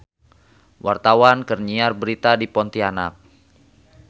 Wartawan keur nyiar berita di Pontianak